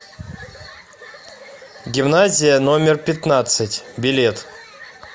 гимназия номер пятнадцать билет